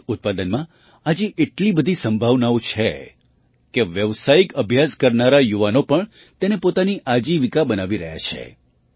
મધ ઉત્પાદનમાં આજે એટલી બધી સંભાવનાઓ છે કે વ્યાવસાયિક અભ્યાસ કરનારા યુવાનો પણ તેને પોતાની આજીવિકા બનાવી રહ્યા છે